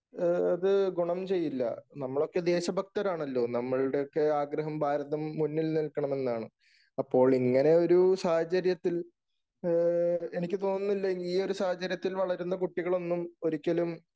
അത് ഗുണം ചെയ്യില്ല. നമ്മളൊക്കെ ദേശഭക്തരാണല്ലോ. നമ്മളുടെയൊക്കെ ആഗ്രഹം ഭാരതം മുന്നിൽ നിൽക്കണമെന്നാണ്. അപ്പോൾ ഇങ്ങനെ ഒരു സാഹചര്യത്തിൽഎനിക്ക് തോന്നുന്നില്ല ഈ ഒരു സാഹചര്യത്തിൽ വളരുന്ന കുട്ടികളൊന്നും ഒരിക്കലും